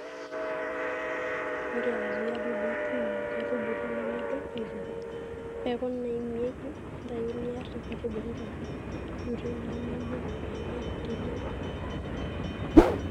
ore azuia dudui, tuuno inkaitubulu nemedup aitoki, mbekun naimieki, ntayu niar nkaitubulu torrok, durie naa mibungie ake teniun